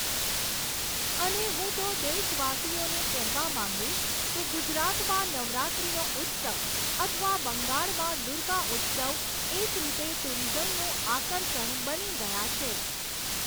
અને હું તો દેશવાસીઓને કહેવા માંગીશ કે ગુજરાતમાં નવરાત્રીનો ઉત્સવ અથવા બંગાળમાં દુર્ગા ઉત્સવ એક રીતે ટુરીઝમનું આકર્ષણ બની ગયા છે.